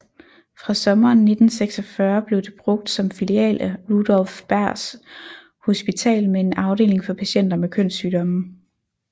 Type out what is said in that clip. Fra sommeren 1946 blev det brugt som filial af Rudolph Berghs Hospital med en afdeling for patienter med kønssygdomme